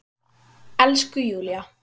Elsku Júlla!